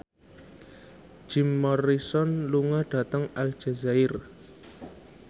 Jim Morrison lunga dhateng Aljazair